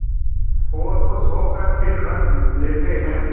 और खुश होकर फिर रख लेते हैं